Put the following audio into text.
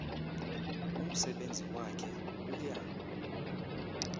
umsebenzi wakhe uya